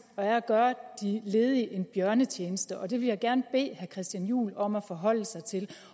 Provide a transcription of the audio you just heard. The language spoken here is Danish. er at gøre de ledige en bjørnetjeneste og det vil jeg gerne bede herre christian juhl om at forholde sig til